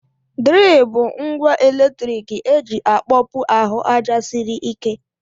Dril bụ ngwa eletrik eji akpọpu ahụ aja sịrị ike.